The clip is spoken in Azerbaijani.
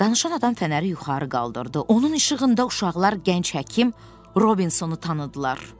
Danışan adam fənəri yuxarı qaldırdı, onun işığında uşaqlar gənc həkim Robinsonu tanıdılar.